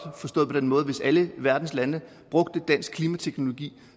forstået på den måde at hvis alle verdens lande brugte dansk klimateknologi